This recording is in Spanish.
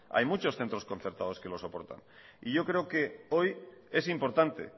hay muchos centros concertados que lo soportan y yo creo que hoy es importante